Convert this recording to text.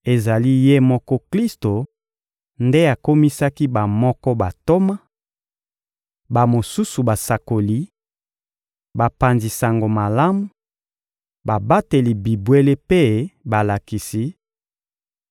Ezali Ye moko Klisto nde akomisaki bamoko bantoma, bamosusu basakoli, bapanzi Sango Malamu, babateli bibwele mpe balakisi,